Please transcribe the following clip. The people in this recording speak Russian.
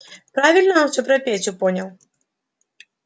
правильно он все про петю понял